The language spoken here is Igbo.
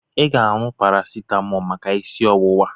Ị ga-aṅu paracitamọ maka isi ọwụwa?